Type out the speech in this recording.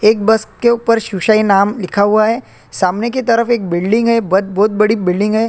एक बस के ऊपर सुसई नाम लिखा हुआ है सामने की तरफ बिलडिंग है बहोत बड़ी बिलडिंग है।